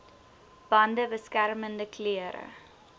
bande beskermende klere